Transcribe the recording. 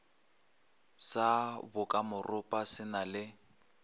sa bokamoropa se na le